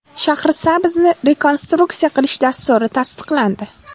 Shahrisabzni rekonstruksiya qilish dasturi tasdiqlandi.